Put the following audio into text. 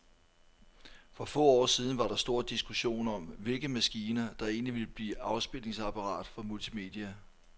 For få år siden var der stor diskussion om, hvilke maskiner, der egentlig ville blive afspilningsapparater for multimedia.